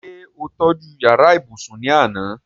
ṣé ó tọ́ju yàrá ibùsùn ní àná?